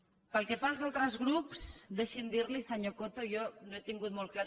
pel que fa als altres grups deixi’m dir li senyor coto que jo no he tingut molt clar